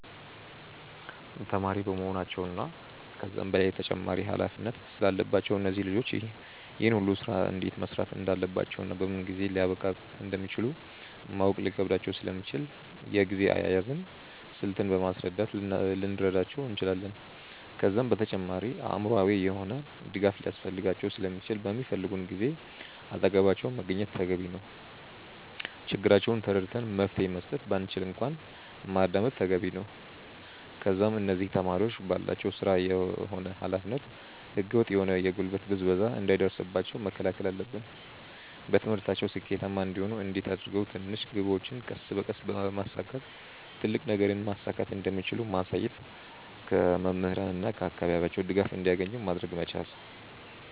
ተማሪ በመሆናቸው እና ከዛም በላይ ተጨማሪ ኃላፊነት ስላለባቸው እነዚህ ልጆች ይህን ሁሉ ስራ እንዴት መስራት እንዳለባቸውና በምን ጊዜ ሊያብቃቁት እንደሚችሉ ማወቅ ሊከብዳቸው ስለሚችል የጊዜ አያያዝን ስልት በማስረዳት ልንረዳቸው እንችላለን። ከዛም በተጨማሪ አእምሮአዊ የሆነ ድጋፍ ሊያስፈልጋቸው ስለሚችል በሚፈልጉን ጊዜ አጠገባቸው መገኘት ተገቢ ነው። ችግራቸውን ተረድተን መፍትሄ መስጠት ባንችል እንኳን ማዳመጥ ተገቢ ነው። ከዛም እነዚህ ተማሪዎች ባላቸው ስራ ሆነ ኃላፊነት ህገ ወጥ የሆነ የጉልበት ብዝበዛ እንዳይደርስባቸው መከላከል አለብን። በትምህርታቸው ስኬታማ እንዲሆኑ እንዴት አድርገው ትንሽ ግቦችን ቀስ በቀስ በማሳካት ትልቅ ነገርን ማሳካት እንደሚችሉ ማሳየት። ከመምህራን እና ከአካባቢያቸው ድጋፍ እንዲያገኙ ማድረግ መቻል።